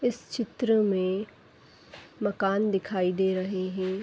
इस चित्र में मकान दिखाई दे रहे हैं|